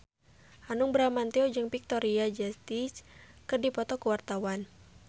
Hanung Bramantyo jeung Victoria Justice keur dipoto ku wartawan